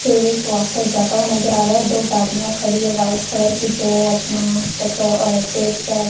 तेल को आकर जाता हुआ नजर आ रहा है दो गाड़ियां खड़ी है वाइट कलर की जो अपना पेट्रो अं तेल पैक --